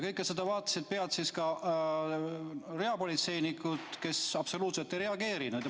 Kõike seda vaatasid pealt reapolitseinikud, kes absoluutselt ei reageerinud.